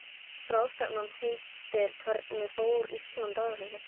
Í raun er hún hrædd við blóð.